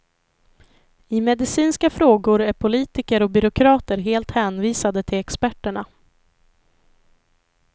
I medicinska frågor är politiker och byråkrater helt hänvisade till experterna.